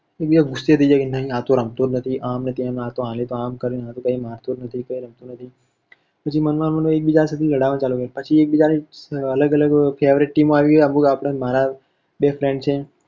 ઍક બીજા પર ગુસ્સે થઈ જાયકે આતો કઈ રમતો જ નથી, આમ ને તેમ ને આને તો આમ કર્યું ને આતો મારતો જ નથી કઈ રમતો નથી. પછી મન માં ને મન માં ઍક બીજા સાથે લડાવવાનું ચાલુ કરે છે પછી ઍક બીજા ની અલગ અલગ favourite team આવી હોય મારા બે friend છે.